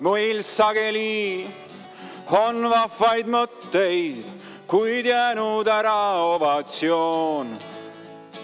Meil sageli on vahvaid mõtteid, kuid jäänud ära ovatsioon.